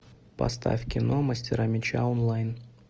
поставь кино мастера меча онлайн